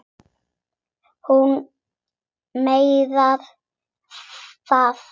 Hún meinar það.